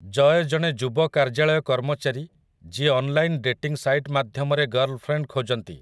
ଜୟ ଜଣେ ଯୁବ କାର୍ଯ୍ୟାଳୟ କର୍ମଚାରୀ ଯିଏ ଅନ୍‌ଲାଇନ୍‌‌ ଡେଟିଂ ସାଇଟ୍ ମାଧ୍ୟମରେ ଗର୍ଲଫ୍ରେଣ୍ଡ୍ ଖୋଜନ୍ତି ।